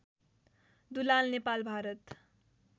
Dulal Nepal Bharat